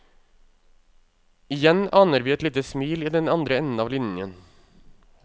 Igjen aner vi et lite smil i den andre enden av linjen.